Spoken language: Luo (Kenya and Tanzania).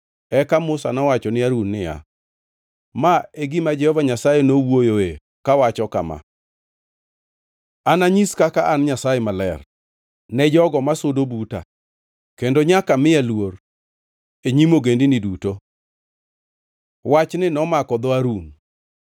Eka Musa nowacho ni Harun niya, “Ma e gima Jehova Nyasaye nowuoyoe kawacho kama, “ ‘Ananyis kaka an Nyasaye Maler ne jogo masudo buta, kendo nyaka miya luor e nyim ogendini duto.’ ” Wachni nomako dho Harun.